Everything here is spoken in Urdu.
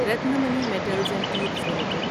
Ratnamani metals and tubes limited